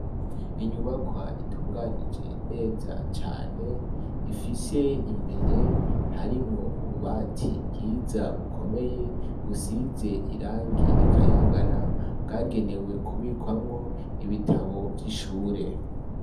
Inyubakwa itunganije neza cane, Ifise imbere harimwo ububati bwiza bukomeye busize irangi rikayangana, bwagenewe kubikamwo ibitabu vyishure.